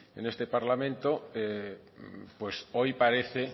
en este parlamento pues hoy parece